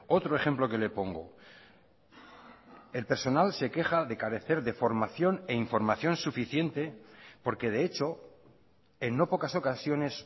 otro ejemplo que le pongo el personal se queja de carecer de formación e información suficiente porque de hecho en no pocas ocasiones